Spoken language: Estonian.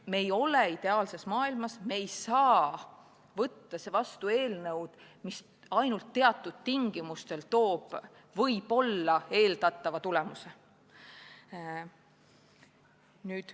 Me ei ela ideaalses maailmas ja me ei saa võtta vastu seadust, mis ainult teatud tingimustel annab võib-olla eeldatava tulemuse.